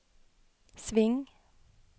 sving